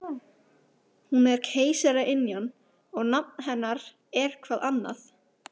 Hún er keisaraynjan og nafn hennar er-hvað annað?